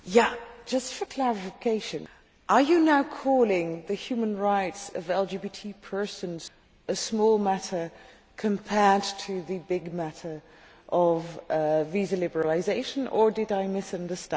Just for clarification, are you now calling the human rights of LGBT persons a small matter compared to the big matter of visa liberalisation, or did I misunderstand?